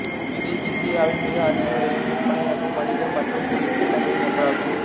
இது இந்தியாவில் மிக அதிக விலைக்கு விற்பனையாகும் வணிக மற்றும் குடியிருப்பு இடங்களில் ஒன்றாகும்